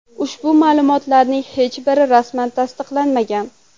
Ushbu ma’lumotlarning hech biri rasman tasdiqlanmagan.